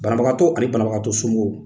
Banabagatɔ ani banabagatɔ somɔgɔw